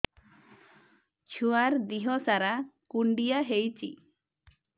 ଛୁଆର୍ ଦିହ ସାରା କୁଣ୍ଡିଆ ହେଇଚି